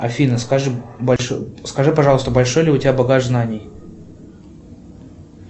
афина скажи пожалуйста большой ли у тебя багаж знаний